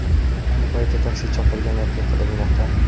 Ayni paytda taksi chaqirgan erkak qidirilmoqda.